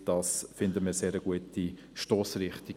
Das finden wir eine sehr gute Stossrichtung.